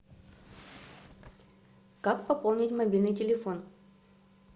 как пополнить мобильный телефон